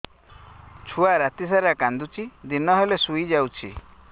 ଛୁଆ ରାତି ସାରା କାନ୍ଦୁଚି ଦିନ ହେଲେ ଶୁଇଯାଉଛି